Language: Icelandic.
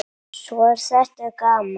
Svo er þetta gaman.